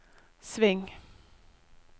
sving